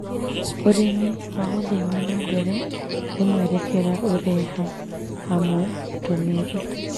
ũrĩmi wa ũthii wa na mbere nĩ mũerekera ũreha hamwe ũtũmĩri